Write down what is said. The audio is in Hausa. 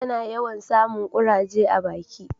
ta na yawan samun kuraje a baki